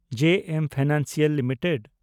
ᱡᱮ M Financial limited